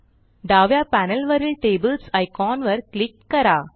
डाव्या पॅनेलवरील tables icon वर क्लिक करा